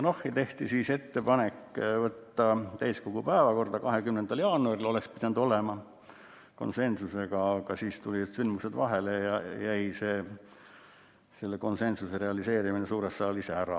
Tehti ettepanek võtta eelnõu täiskogu päevakorda 20. jaanuariks , nii oleks pidanud olema, aga siis tulid sündmused vahele ja selle konsensuse realiseerimine suures saalis jäi ära.